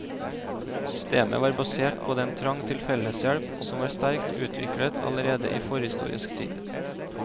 Systemet var basert på den trang til felleshjelp som var sterkt utviklet allerede i forhistorisk tid.